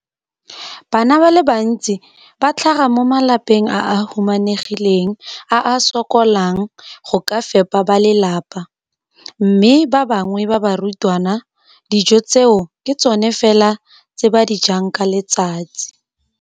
Bana ba le bantsi ba tlhaga mo malapeng a a humanegileng a a sokolang go ka fepa ba lelapa mme ba bangwe ba barutwana, dijo tseo ke tsona fela tse ba di jang ka letsatsi.